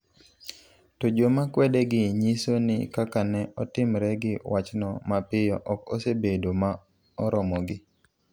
To joma kwedegi nyiso ni kaka ne otimre gi wachno mapiyo ok osebedo ma oromogi.